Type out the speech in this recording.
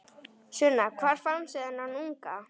Sunna: Hvar fannstu þennan unga?